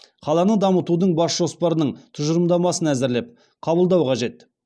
қаланы дамытудың бас жоспарының тұжырымдамасын әзірлеп қабылдау қажет